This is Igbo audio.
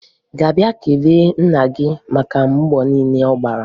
Ị ga-abịa kelee nna gị maka mbọ niile ọ na-agba?